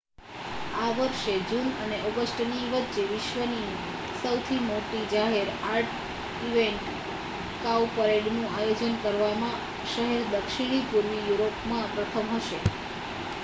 આ વર્ષે જૂન અને ઑગસ્ટની વચ્ચે વિશ્વની સૌથી મોટી જાહેર આર્ટ ઇવેન્ટ કાઉપરેડનું આયોજન કરવામાં શહેર દક્ષિણપૂર્વી યુરોપમાં પ્રથમ હશે